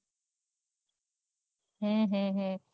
હમ હમ હમ